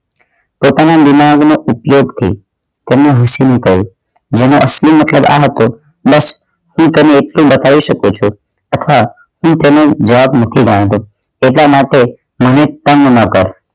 પોતાના દીમાગ નો ઉપયોગ થી તેમનુ કહે જેના અસલી મુખે રાહત હોય બસ તે કરી આટલું બતાવી શકો છો તથા તે તમને જવાબ નથી તેના માટે તુલિતમ ન કર